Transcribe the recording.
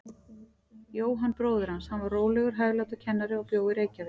Jóhann bróðir hans, hann var rólegur, hæglátur kennari og bjó í Reykjavík.